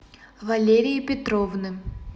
валерии петровны